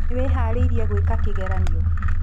Nĩwĩharĩirie gũĩka kĩgeranio?